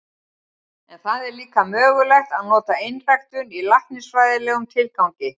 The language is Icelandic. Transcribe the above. En það er líka mögulegt að nota einræktun í læknisfræðilegum tilgangi.